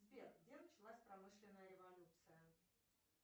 сбер где началась промышленная революция